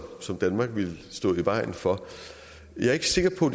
som danmark vil stå i vejen for jeg er ikke sikker på